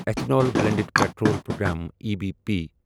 ethanol blended petrol programme E B P